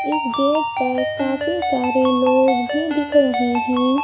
इस गेट पर काफी सारे लोग भी दिख रहे हैं।